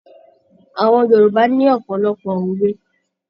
Àwọn Yorùbá ní ọ̀pọ̀lọpọ̀ òwe.